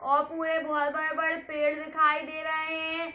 और पुरे पेड़ दिखाई दे रहे हैं।